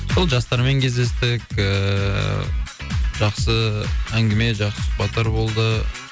сол жастармен кездестік ііі жақсы әңгіме жақсы сұхбаттар болды